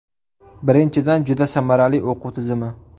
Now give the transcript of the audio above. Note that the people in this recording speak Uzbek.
Birinchidan, juda samarali o‘quv tizimi.